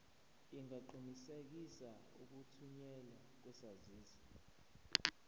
ungaqinisekisa ukuthunyelwa kwesaziso